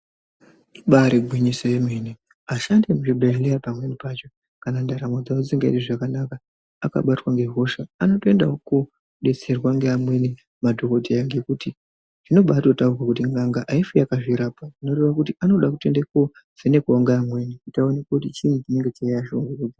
Ibarigwinyiso yemene vashandi vemuzvibhedhlera kana ndaramo dzavo dzisikazwi zvakanaka akabatwa ngehosha anotoendawo kunobetserwa ngeamweni madhokodheya ngekuti zvinobataurwa kuto n'anga haifi yakazvirapa zvirove kuto vanofane kutonovhenekwa nevamweni kuti vaonekwe kuti chii chikuyayiya pavari .